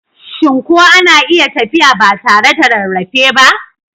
Shin ko ana iya tafiya ba tare da rarrafe ba?